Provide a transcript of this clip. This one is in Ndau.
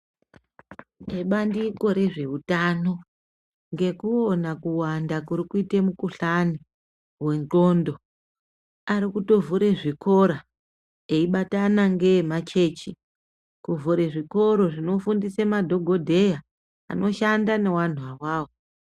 Ebandiko rezveutano ngekuona kuwanda kurikuite mukuhlani wendxondo, arikutovhure zvikora, eibatana ngeemachechi, kuvhure zvikoro zvinofundise madhogodheya anoshanda nevanhu avavo.